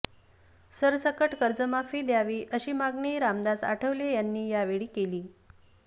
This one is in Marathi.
सरसकट कर्जमाफी द्यावी अशी मागणी रामदास आठवले यांनी यावेळी केली